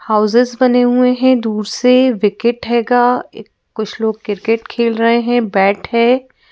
Houses बने हुए हैं दूर से विकेट हैगा इ कुछ लोग क्रिकेट खेल रहे हैं बैट है ।